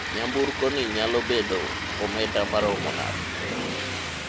nyamburkoni nyalo bedo omenda maromo nade?